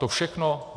To všechno.